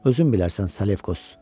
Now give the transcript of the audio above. Özün bilərsən, Salekos.